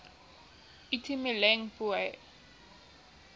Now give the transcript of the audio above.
itumeleng pooe